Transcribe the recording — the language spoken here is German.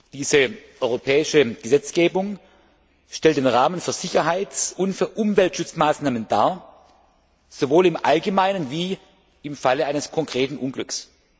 Diese europäische Gesetzgebung stellt den Rahmen für Sicherheits und Umweltschutzmaßnahmen dar, sowohl im Allgemeinen wie im Falle eines konkreten Unglücks.